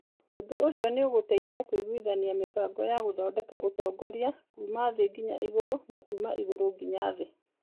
Ũndũ ũcio nĩ ũgũteithia kũiguithania mĩbango ya gũthondeka ũtongoria kuuma thĩ nginya igũrũ na kuuma igũrũ nginya thĩ.